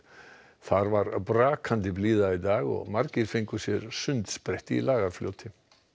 þar var brakandi blíða í dag og margir fengu sér sundsprett í Lagarfljóti